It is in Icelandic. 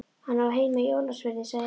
Hann á heima í Ólafsfirði, sagði Emil.